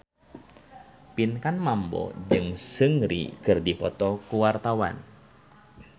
Pinkan Mambo jeung Seungri keur dipoto ku wartawan